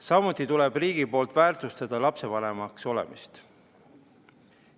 Samuti tuleb riigil väärtustada lapsevanemaks olemist.